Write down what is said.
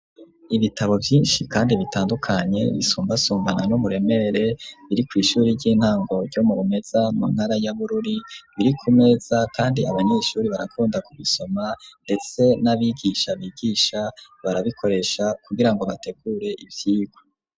Ibitabo vyinshi kandi bitandukanye, bisumbasumbana n'umuremere, biri kw'ishuri ry'intango ryo mu Rumeza mu ntara ya Bururi, biri ku meza kandi abanyeshuri barakunda ku bisoma, ndetse n'abigisha bigisha, barabikoresha kugira ngo bategure ivyigwa.